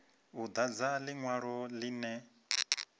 u dadza linwalo linwe na